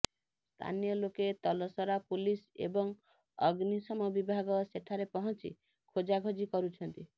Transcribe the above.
ସ୍ଥାନୀୟ ଲୋକେ ତଲସରା ପୁଲିସ ଏବଂ ଅଗ୍ନିଶମ ବିଭାଗ ସେଠାରେ ପହଞ୍ଚି ଖୋଜାଖୋଜି କରୁଛନ୍ତି